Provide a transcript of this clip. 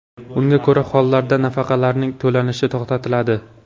Unga ko‘ra: hollarda nafaqalarning to‘lanishi to‘xtatiladi.